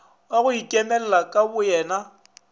wa go ikemela ka boyena